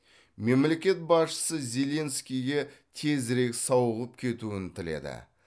мемлекет басшысы зеленскийге тезірек сауығып кетуін тіледі